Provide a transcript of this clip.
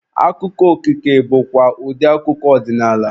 Akụkọ okike bụkwa ụdị akụkọ ọdịnaala.